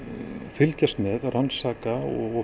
fylgjast með rannsaka